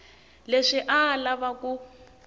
leswi a a lava ku